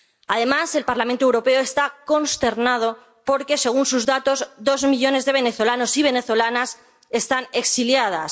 Además, el Parlamento Europeo está consternado porque, según sus datos, dos millones de venezolanos y venezolanas están exiliados.